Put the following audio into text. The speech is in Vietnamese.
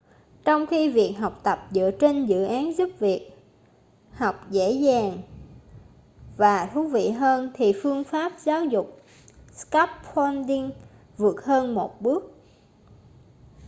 trong khi việc học tập dựa trên dự án giúp việc học dễ dàng và thú vị hơn thì phương pháp giáo dục scaffolding vượt hơn một bước